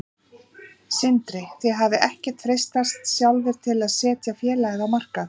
Sindri: Þið hafið ekkert freistast sjálfir til að setja félagið á markað?